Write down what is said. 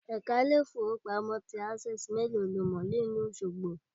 Èka Ilé ìfowópamọ́ sí ti Access méèló lo mò ní ìlú Òsogbo